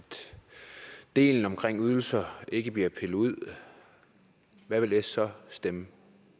delen omkring ydelser ikke bliver pillet ud hvad vil s så stemme